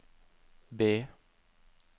B